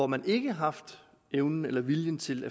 man ikke har haft evnen eller viljen til